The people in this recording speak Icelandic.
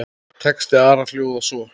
Texti Ara hljóðar svo